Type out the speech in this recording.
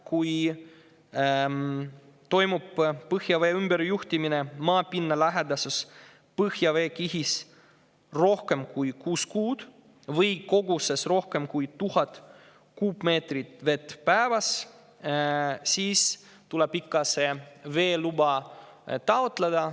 Kui toimub põhjavee ümberjuhtimine maapinnalähedases põhjaveekihis rohkem kui kuus kuud või koguses rohkem kui 1000 kuupmeetrit vett päevas, siis tuleb ikka veeluba taotleda.